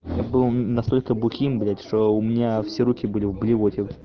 я был на столько бухим блять что у меня все руки были в блевотине